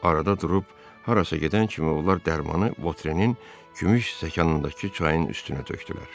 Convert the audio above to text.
Arada durub harasa gedən kimi onlar dərmanı Votrenin gümüş stəkanındakı çayın üstünə tökdülər.